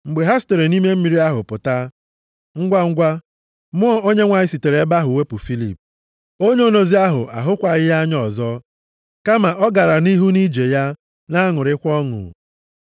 Mgbe ha sitere nʼime mmiri ahụ pụta, ngwangwa Mmụọ Onyenwe anyị sitere nʼebe ahụ wepụ Filip, onye onozi ahụ ahụkwaghị ya anya ọzọ; kama ọ gara nʼihu nʼije ya na-aṅụrịkwa ọṅụ.